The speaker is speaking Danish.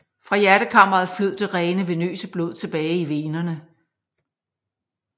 Fra hjertekammeret flød det rene venøse blod tilbage i venerne